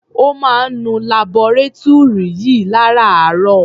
Ó máa ń nu labọretúrì yìí lárààárọ̀.